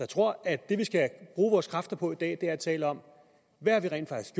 tror at det vi skal bruge vores kræfter på i dag er at tale om hvad vi rent faktisk